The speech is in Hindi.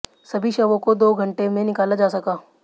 सभी शवों को दो घंटे में निकाला जा सका